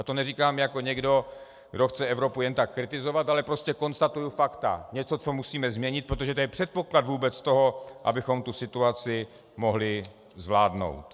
A to neříkám jako někdo, kdo chce Evropu jen tak kritizovat, ale prostě konstatuji fakta, něco, co musíme změnit, protože to je předpoklad vůbec toho, abychom tu situaci mohli zvládnout.